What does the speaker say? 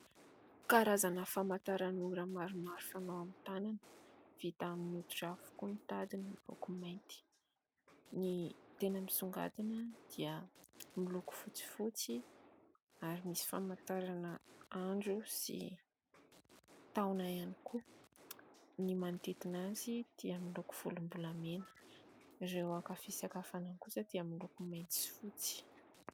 Karazana famantaranora maromaro fanao amin'ny tànana. Vita amin'ny hoditra avokoa ny tadiny, miloko mainty. Ny tena misongadina dia ny loko fotsifotsy ; ary misy famantarana andro sy taona ihany koa. Ny manodidina azy dia miloko volombolamena ireo aka fisaka fanondro kosa dia miloko mainty sy fotsy.